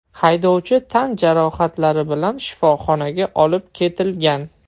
Haydovchi tan jarohatlari bilan shifoxonaga olib ketilgan.